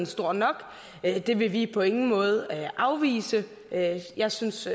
stor nok det vil vi på ingen måde afvise jeg synes